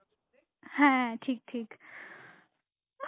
হ্যাঁ ঠিক ঠিক